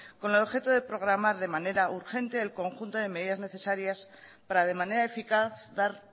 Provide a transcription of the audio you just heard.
con el objeto de programar de manera urgente el conjunto de medidas necesarias para de manera eficaz dar